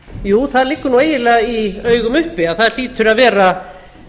jú það liggur nú eiginlega í augum upp að það hlýtur að vera